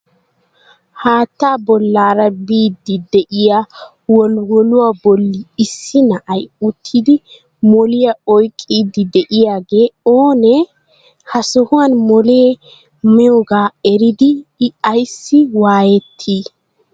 Haatta bollaara biidi de'iya wolwolluwa bolli issii na'ay uttidi moliyaa oyqqidi diyaagee oonee? Ha sohuwan molee naynmaaga eridi I ayssi waayetti?